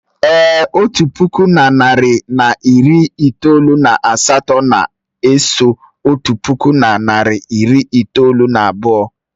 Èé, otu puku na narị na iri itoolu na atọ na-eso otu puku na narị na iri itoolu na abụọ.